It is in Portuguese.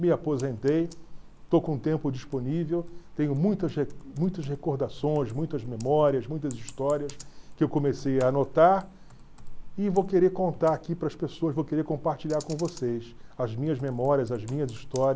Me aposentei, estou com o tempo disponível, tenho muitas re muitas recordações, muitas memórias, muitas histórias que eu comecei a anotar e vou querer contar aqui para as pessoas, vou querer compartilhar com vocês as minhas memórias, as minhas histórias,